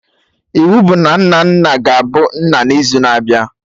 Iwu bụ na Nnanna ga-abu nna n'izu na-abịa!